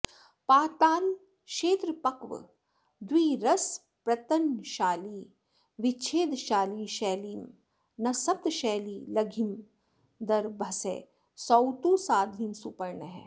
पातालक्षेत्रपक्वद्विरसनपृतनाशालि विच्छेदशाली शैलीं नः सप्तशैली लघिमदरभसः सौतु साध्वीं सुपर्णः